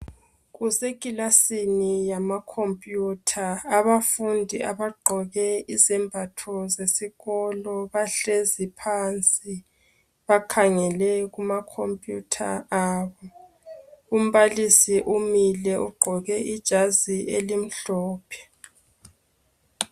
Kusekilasini yamakhompiyutha, abafundi abagqoke izembatho zesikolo bahlezi phansi bakhangele kumakhompiyutha abo. Umbalisi umile ugqoke ijazi elimhlophe.